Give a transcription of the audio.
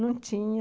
Não tinha.